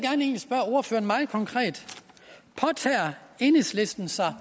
så meget konkret påtager enhedslisten sig